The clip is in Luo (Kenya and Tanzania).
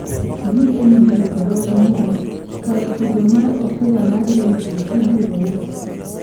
GNB dho NYEN: Kar tugo mar opira mar Wembley ibiro uso